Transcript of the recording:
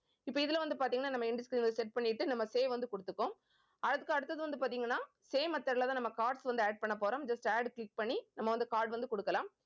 இப்ப இதுல வந்து பார்த்தீங்கன்னா நம்ம end screen அ set பண்ணிட்டு நம்ம save வந்து கொடுத்துக்குவோம். அதுக்கு அடுத்தது வந்து பார்த்தீங்கன்னா same method லதான் நம்ம cards வந்து add பண்ண போறோம் just add click பண்ணி நம்ம வந்து card வந்து கொடுக்கலாம்